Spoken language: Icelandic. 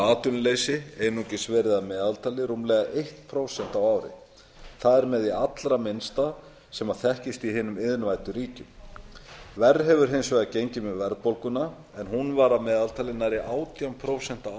atvinnuleysi einungis verið að meðaltali rúmlega eitt prósent á ári það er með því allra minnsta sem þekkist í hinum iðnvæddu ríkjum verr hefur hins vegar gengið með verðbólguna en hún var að meðaltali nærri átján prósent á